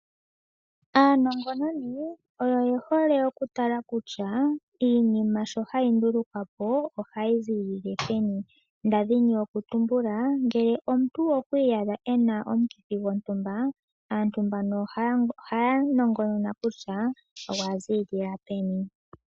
Aanongononi oyo ye hole okutala kutya, iinima sho hayi ndulukwapo ohayi ziilile peni. Ndadhini oku tumbula, ngele omuntu okwa iyadha ena omukithi gontumba, aantu mbano ohaya nongonona kutya, ogwa ziilila peni.